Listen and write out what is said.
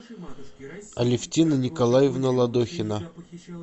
алевтина николаевна ладохина